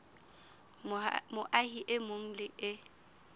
moahi e mong le e